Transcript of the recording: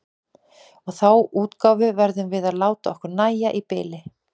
Og þá útgáfu verðum við að láta okkur nægja í bili.